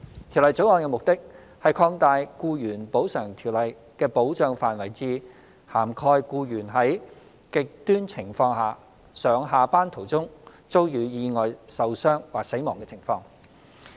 《條例草案》的目的是擴大《僱員補償條例》的保障範圍至涵蓋僱員在"極端情況"下上下班途中遭遇意外受傷或死亡的情況。